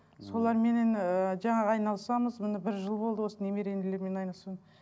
соларменен ыыы жаңағы айналысамыз міне бір жыл болды осы немерелермен айналысуым